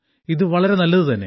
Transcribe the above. ഇത് വളരെ നല്ലതു തന്നെ